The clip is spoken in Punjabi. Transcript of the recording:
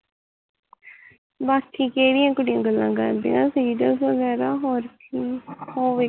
ਬਸ ਕਿਹੜੀਆ ਕੁੜੀਆ ਗੱਲਾ ਕਰਦੀਆ serial ਬਗੈਰਾ ਹੋਰ ਕੀ